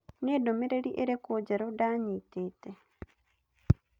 Nĩ ndũmĩrĩri ĩrĩkũ njerũ ndanyitĩte?